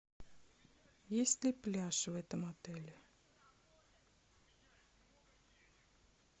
есть ли пляж в этом отеле